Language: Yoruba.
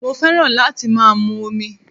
Mo fẹ́ràn láti má a mu omi